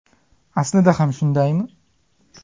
Aslida ham shundaymi?.